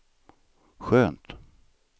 skönt